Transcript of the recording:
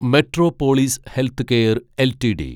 metropolis healthcare LTD